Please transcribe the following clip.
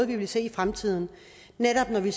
vil se i fremtiden netop når det